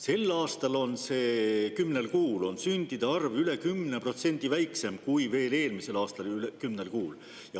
Sel aastal kümnel kuul on sündide arv üle 10% väiksem kui veel eelmisel aastal kümnel kuul.